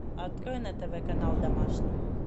открой на тв канал домашний